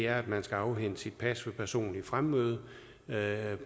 at man skal afhente sit pas ved personligt fremmøde